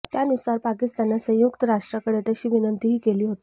त्यानुसार पाकिस्ताननं संयुक्त राष्ट्राकडे तशी विनंतीही केली होती